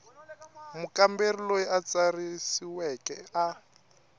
mukamberi loyi a tsarisiweke a